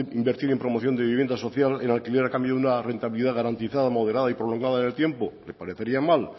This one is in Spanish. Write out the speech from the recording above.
invertir en promoción de vivienda social en alquiler a cambio de una rentabilidad garantizada moderada y prolongada en el tiempo le parecería mal